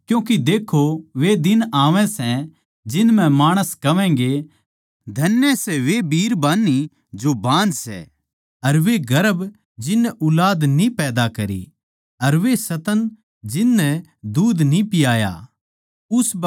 क्यूँके देक्खो वे दिन आवै सै जिन म्ह माणस कहवैंगें धन्य सै वे जो बिरबानियाँ जो बाँझ सै अर वे गर्भ जिननै ऊलाद न्ही पैदा करी अर वे स्तन जिन नै दूध न्ही पियाया